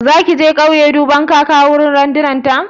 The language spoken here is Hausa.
Zaki je kauye duban kaka a wurin gyaran randunar ta?